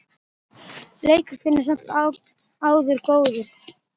Leikur þinn er samt sem áður góður.